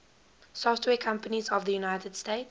software companies of the united states